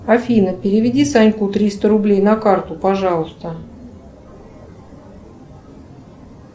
афина переведи саньку триста рублей на карту пожалуйста